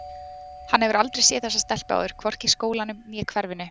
Hann hefur aldrei séð þessa stelpu áður, hvorki í skólanum né hverfinu.